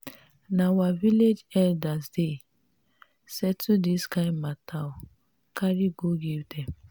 na our village elders dey settle dis kind mata o carry go give dem.